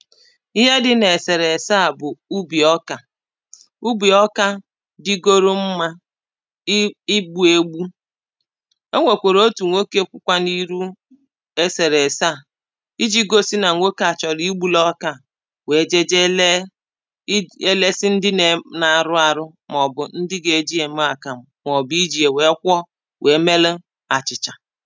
Ihe dị na eserese à bụ ubi ọkà ubi ọka digoro mma i igbuu egbù o nwekwara otū nwoke kwụkwa na iru eserese à iji gosi na nwoke a chọlọ igbulu ọka à wee jeje lee i ya elesi ndị na-arụ arụ maọbụ ndị ga-eji ya mee akamụ maọbụ iji ya wee kwụọ wee melụ achịchà